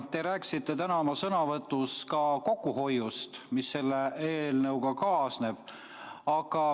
Te rääkisite täna oma sõnavõtus ka kokkuhoiust, mis selle eelnõuga kaasneb.